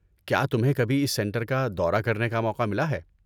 کیا تمہیں کبھی اس سنٹر کا دورہ کرنے کا موقع ملا ہے؟